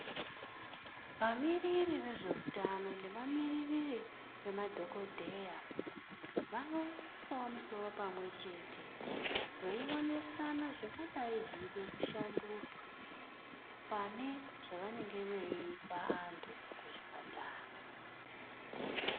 Vamiriri vezveutano nevamiririri vemadhokodheya vanoisawo misoro pamwe chete veionesana zvingadayi zveida kushandurwa pane zvavanenge veipa vantu kuzvipatara.